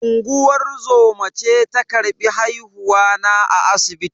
Unguwar zoma ce ta karbi haihuwa na a asibiti.